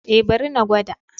Eh bari na gwada.